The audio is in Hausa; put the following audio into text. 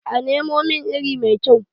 a Nemo min iri mai kyau?